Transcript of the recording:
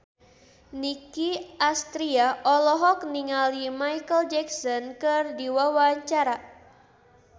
Nicky Astria olohok ningali Micheal Jackson keur diwawancara